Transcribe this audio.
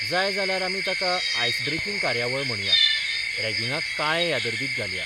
जाय जाल्यार आमी ताका आयस ब्रेकिंग कार्यावळ म्हणया रॅगिंगाक काळे यादर्दीत घालया.